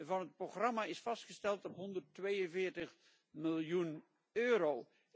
van het programma is vastgesteld op 142 miljoen euro.